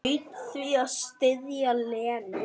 Hlaut því að styðja Lenu.